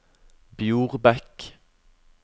Bjorbekk